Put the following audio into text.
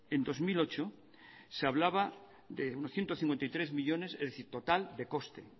en dos mil ocho se hablaba de unos ciento cincuenta y tres millónes es decir total de coste